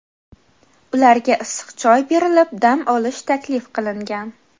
Ularga issiq choy berilib, dam olish taklif qilingan.